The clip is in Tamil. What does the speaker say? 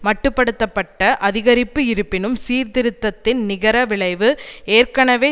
மட்டு படுத்த பட்ட அதிகரிப்பு இருப்பினும் சீர்திருத்தத்தின் நிகர விளைவு ஏற்கனவே